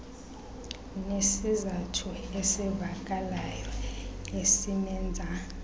nesizathu esivakalayo esimenza